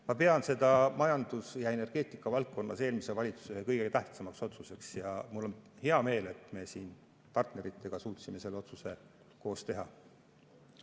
Ma pean seda majandus- ja energeetikavaldkonnas eelmise valitsuse kõige tähtsamaks otsuseks ja mul on hea meel, et me partneritega suutsime selle otsuse koos teha.